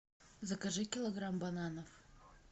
закажи килограмм бананов